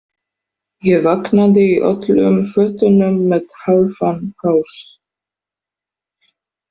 Ég vaknaði í öllum fötunum með hálfan haus.